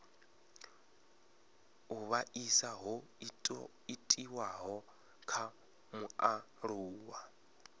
u vhaisa ho itiwaho kha mualuwa